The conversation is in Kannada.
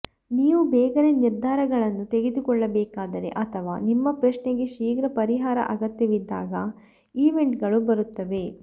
ನೀವು ಬೇಗನೆ ನಿರ್ಧಾರಗಳನ್ನು ತೆಗೆದುಕೊಳ್ಳಬೇಕಾದರೆ ಅಥವಾ ನಿಮ್ಮ ಪ್ರಶ್ನೆಗೆ ಶೀಘ್ರ ಪರಿಹಾರ ಅಗತ್ಯವಿದ್ದಾಗ ಈವೆಂಟ್ಗಳು ಬರುತ್ತವೆ